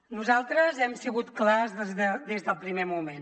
nosaltres hem sigut clars des del primer moment